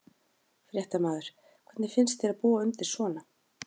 Fréttamaður: Hvernig finnst þér að búa undir svona?